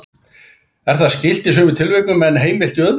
Er það skylt í sumum tilvikum en heimilt í öðrum.